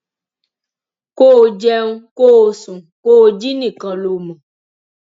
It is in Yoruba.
kó o jẹun kó o sùn kó o jí nìkan ló mọ